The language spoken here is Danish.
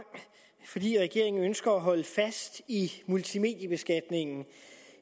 fordi regeringen ønsker at holde fast i multimediebeskatningen